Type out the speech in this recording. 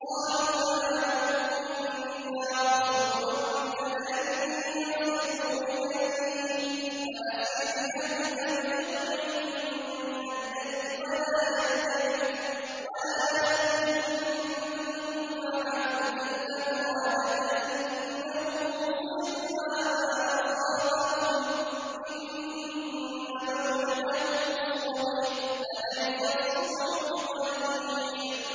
قَالُوا يَا لُوطُ إِنَّا رُسُلُ رَبِّكَ لَن يَصِلُوا إِلَيْكَ ۖ فَأَسْرِ بِأَهْلِكَ بِقِطْعٍ مِّنَ اللَّيْلِ وَلَا يَلْتَفِتْ مِنكُمْ أَحَدٌ إِلَّا امْرَأَتَكَ ۖ إِنَّهُ مُصِيبُهَا مَا أَصَابَهُمْ ۚ إِنَّ مَوْعِدَهُمُ الصُّبْحُ ۚ أَلَيْسَ الصُّبْحُ بِقَرِيبٍ